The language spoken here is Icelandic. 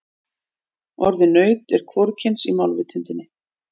Orðið naut er hvorugkyns í málvitundinni.